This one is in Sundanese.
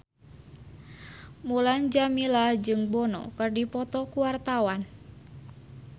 Mulan Jameela jeung Bono keur dipoto ku wartawan